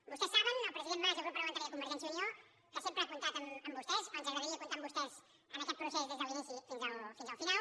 vostès saben el president mas i el grup parlamentari de convergència i unió que sempre han comptat amb vostès o ens agradaria comptar amb vostès en aquest procés des de l’inici fins al final